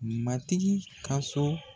Matigi ka so